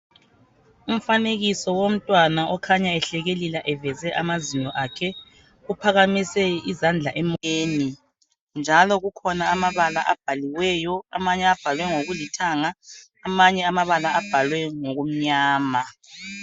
Umfanekiso womntwana okhanya ehlekelela eveza amazinyo akhe. Uphakamise izandla emoyeni njalo kukhona amabala abhaliweyo, amanye abhalwe ngokulithanga. Amanye amabala abhalwe ngokumnyama.